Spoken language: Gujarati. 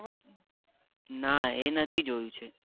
ના એ નથી જોયું છે